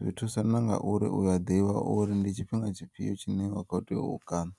zwi thusa na nga uri uya ḓivha uri ndi tshifhinga tshifhiyo tshine wa kho teya u kana.